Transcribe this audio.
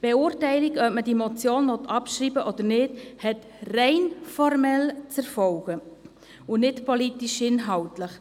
Die Beurteilung, ob man diese Motion abschreiben will oder nicht, hat rein formell zu erfolgen und nicht politischinhaltlich.